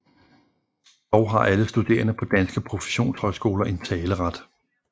Dog har alle studerende på danske professionshøjskoler en taleret